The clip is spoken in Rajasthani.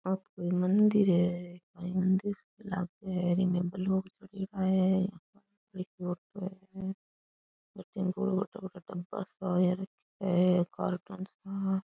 ओ तो कोई मंदिर है मंदिर सु लागे है इमें बलून है कार्टून सा --